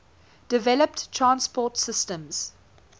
developed transport systems